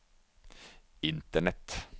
internett